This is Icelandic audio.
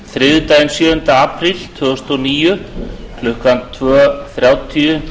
þriðjudaginn sjöunda apríl tvö þúsund og níu klukkan tvö þrjátíu